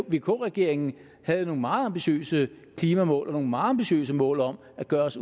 vk regeringen havde nogle meget ambitiøse klimamål og nogle meget ambitiøse mål om at gøre os